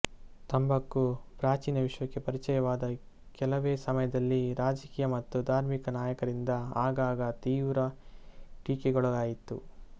ತಂಬಾಕು ಪ್ರಾಚೀನ ವಿಶ್ವಕ್ಕೆ ಪರಿಚಯವಾದ ಕೆಲವೇ ಸಮಯದಲ್ಲಿ ರಾಜಕೀಯ ಮತ್ತು ಧಾರ್ಮಿಕ ನಾಯಕರಿಂದ ಆಗಾಗ ತೀವ್ರ ಟೀಕೆಗೊಳಗಾಯಿತು